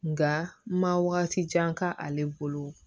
Nka ma wagati jan k'ale bolo